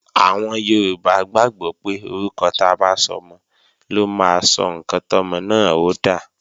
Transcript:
Àwọn Yorùbá gbàgbọ́ pé orúkọ ta bá sọmọ ló máa sọ ǹkan tọ́mọ náà ó dà